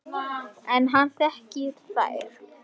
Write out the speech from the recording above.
En hann þekkir þær.